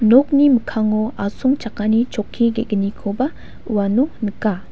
nokni mikango asongchakani chokki ge·gnikoba uano nika.